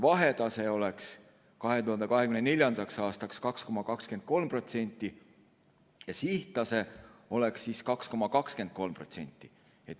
Vahetase oleks 2024. aastaks 2,23% ja sihttase oleks 2,23%.